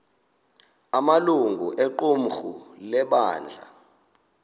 amalungu equmrhu lebandla